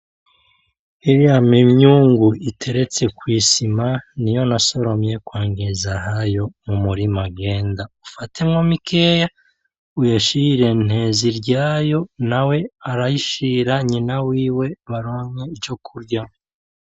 Iriya ni imyungu iteretse kwisima , niyo nasoromye kwa Ngezahayo mumurima genda ufatemwo mikeya uyishire Nteziryayo nawe arayishira nyina wiwe baronke ico kurya .